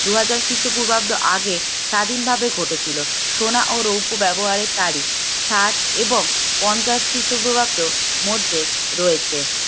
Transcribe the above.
দুই হাজার খ্রিস্টপূর্বাব্দ আগে স্বাধীনভাবে ঘটেছিল সোনা ও রৌপ্য ব্যবহারের তারিফ ষাট এবং পঞ্চাশ খ্রিস্টপূর্বাব্দের মধ্যে রয়েছে